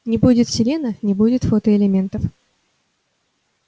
не будет селена не будет фотоэлементов